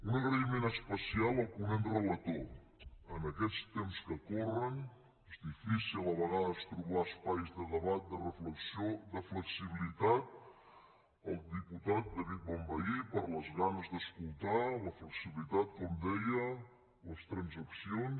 un agraïment especial al ponent relator en aquests temps que corren és difícil a vegades trobar espais de debat de reflexió de flexibilitat al diputat david bonvehí per les ganes d’escoltar la flexibilitat com deia les transaccions